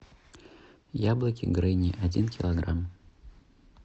яблоки гренни один килограмм